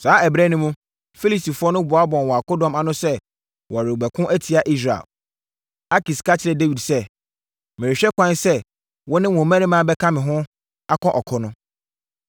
Saa ɛberɛ no mu, Filistifoɔ no boaboaa wɔn akodɔm ano sɛ wɔrebɛko atia Israel. Akis ka kyerɛɛ Dawid sɛ, “Merehwɛ kwan sɛ, wo ne wo mmarima bɛka me ho akɔ ɔko no.”